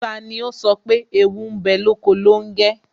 Tani ó sọ pé "Ewu ń bẹ lóko longe?